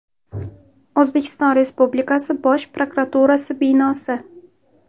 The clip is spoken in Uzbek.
O‘zbekiston Respublikasi Bosh prokuraturasi binosi.